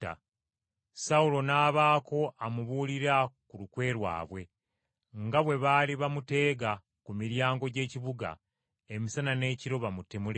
Sawulo n’abaako amubuulira ku lukwe lwabwe nga bwe baali bamuteega ku miryango gy’ekibuga emisana n’ekiro bamutemule.